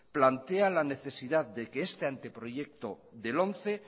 plantea la necesidad de que este anteproyecto de lomce